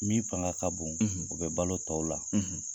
Min fanga ka bon, , u bɛ balo tɔw la.